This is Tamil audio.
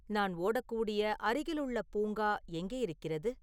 நான் ஓடக்கூடிய அருகிலுள்ள பூங்கா எங்கே இருக்கிறது